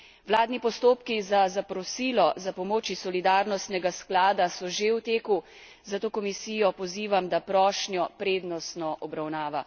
Vladni postopki za zaprosilo za pomoč iz solidarnostnega sklada so že v teku, zato Komisijo pozivam, da prošnjo prednostno obravnava.